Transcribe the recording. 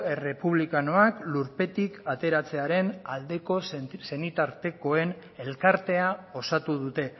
errepublikanoak lurpetik ateratzearen aldeko senitartekoen elkartea osatu dute